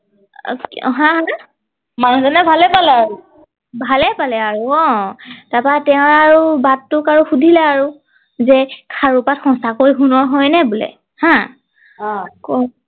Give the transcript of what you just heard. মানুহ জনে ভালেই পালে আৰু ভালেই পালে আৰু অ তাৰ পৰা তেওঁৰ আৰু বাঘটোক আৰু সুধিলে আৰু যে খাৰু পাত সঁচাকৈ সোণৰ হয় নে বোলে হা আহ